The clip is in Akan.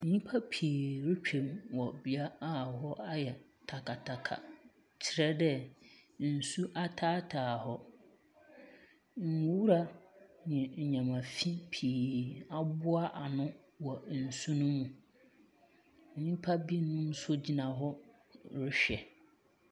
Nyimpa pii retwam wɔ bea aa hɔ ayɛ takataka, kyerɛ dɛɛ nsu ataataa hɔ. Nwura ne nwoma fi pii aboa ano wɔ nsu ne mu. Nyinpa binom so gyina hɔ rehwɛ.